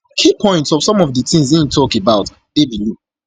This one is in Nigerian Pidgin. key points of some of di tins im tok about dey below